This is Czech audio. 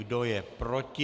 Kdo je proti?